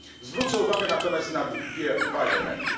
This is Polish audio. Zwrócę uwagę natomiast na dwa elementy.